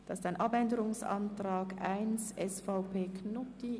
Hierzu liegt ein Abänderungsantrag 1, SVP/Knutti vor.